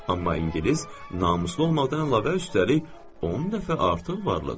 Amma ingilis namuslu olmaqdan əlavə üstəlik, 10 dəfə artıq varlıdır.